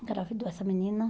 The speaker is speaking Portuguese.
Engravidou essa menina.